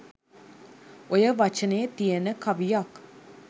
ඔය ව‍චනෙ තියන කවියක්